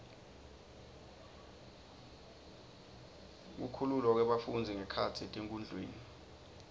kukhululwa kwebafundzi ngekhatsi etikudlweni